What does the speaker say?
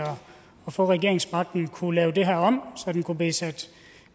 få regeringsmagten kunne lave det her om så beløbet kunne blive sat